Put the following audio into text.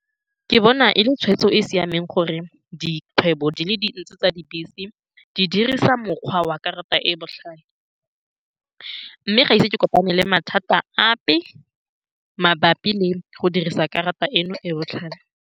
Ke bona e le tshweetso e e siameng gore dikgwebo di le dintsi tsa dibese di dirisa mokgwa wa karata e e botlhale, mme ga ise ke kopane le mathata ape mabapi le go dirisa karata eno e e botlhale.